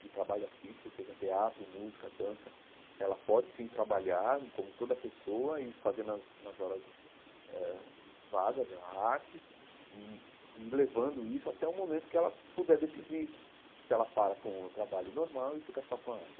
De trabalho artístico, seja teatro, música, dança, ela pode, sim, trabalhar como toda pessoa e fazer nas nas horas eh vagas a arte e ir levando isso até o momento em que ela puder decidir se ela para com o trabalho normal e fica só com a arte.